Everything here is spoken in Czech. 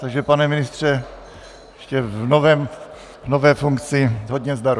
Takže pane ministře, ještě v nové funkci, hodně zdaru.